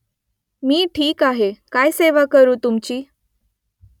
मी ठीक आहे काय सेवा करू तुमची ?